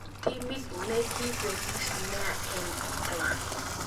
Timit nikipelis nea eng England.